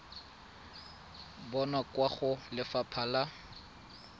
bonwa kwa go lefapha la